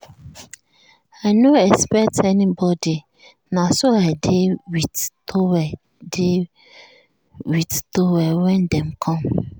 i no expect anybody na so i dey with towel dey with towel when dem come.